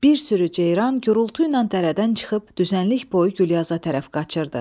Bir sürü ceyran gurultu ilə dərədən çıxıb düzənlik boyu Gülyaza tərəf qaçırdı.